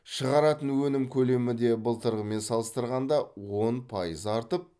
шығаратын өнім көлемі де былтырғымен салыстырғанда он пайыз артып